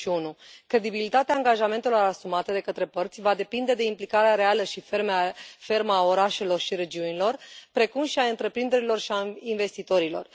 21. Credibilitatea angajamentelor asumate de către părți va depinde de implicarea reală și fermă a orașelor și regiunilor, precum și a întreprinderilor și a investitorilor.